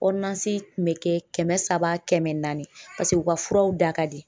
kun bɛ kɛ kɛmɛ saba kɛmɛ naani paseke u ka furaw da ka di .